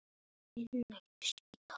Rúnar, hvernig gengur?